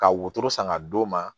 Ka wotoro san ka d'o ma